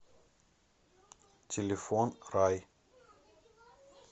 телефон рай